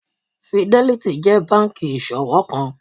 Fidelity jẹ́ banki ìṣowó kan.